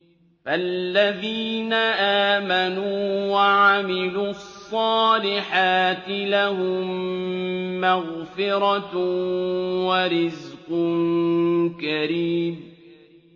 فَالَّذِينَ آمَنُوا وَعَمِلُوا الصَّالِحَاتِ لَهُم مَّغْفِرَةٌ وَرِزْقٌ كَرِيمٌ